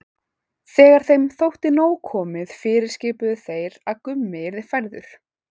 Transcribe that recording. Þegar þeim þótti nóg komið fyrirskipuðu þeir að Gummi yrði færður.